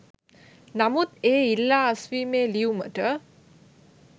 නමුත් ඒ ඉල්ලා අස්වීමේ ලියුමට